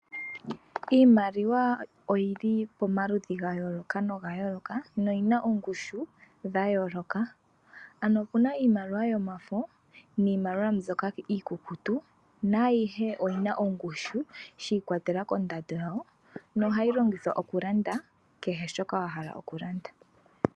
Iimaliwa oyili pomaludhi ga yooloka noga yooloka, noyina oongushu dha yooloka, ano opuna iimaliwa yomafo niimaliwa mbyoka iikukutu naayihe oyina ongushu shi i kwatelela kondado yawo, nohayi longithwa okulanda kehe shoka wa hala oku landa.